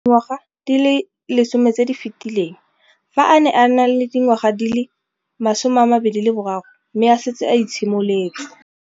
Dingwaga di le 10 tse di fetileng, fa a ne a le dingwaga di le 23 mme a setse a itshimoletse